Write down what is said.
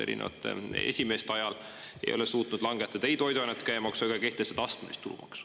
Erinevate esimeeste ajal ei ole suutnud langetada ei toiduainete käibemaksu ega kehtestada astmelist tulumaksu.